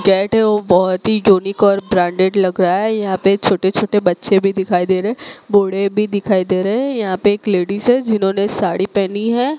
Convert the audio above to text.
Cat है वे बहोत ही यूनिक ब्रांडेड लग रहा है यहां पे छोटे छोटे बच्चे भी दिखाई दे रहे है बूढ़े भी दिखाई दे रहे हैं यहां पे एक लेडिस है जिन्होंने साड़ी पहनी है।